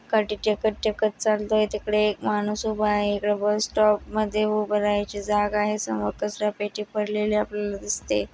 काठी टेकत टेकत चालय तिकडे एक माणूस उभा आहे. इकड बस स्टॉप मध्ये उभ राहायची जागा आहे. समोर कचरा पेटी पडलेली आपल्याला दिसते.